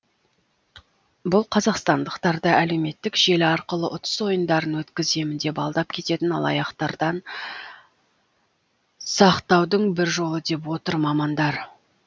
бұл қазақстандықтарды әлеуметтік желі арқылы ұтыс ойындарын өткіземін деп алдап кететін алаяқтардан сақтаудың бір жолы деп отыр мамандар